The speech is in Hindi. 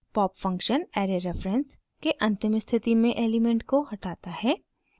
pop फंक्शन ऐरे रेफरेंस के अंतिम स्थिति से एलिमेंट को हटाता है